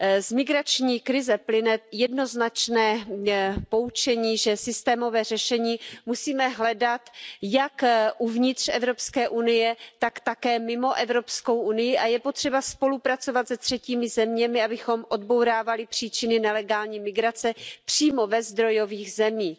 Z migrační krize plyne jednoznačné poučení, že systémové řešení musíme hledat jak uvnitř Evropské unie, tak také mimo Evropskou unii a je potřeba spolupracovat se třetími zeměmi, abychom odbourávali příčiny nelegální migrace přímo ve zdrojových zemích.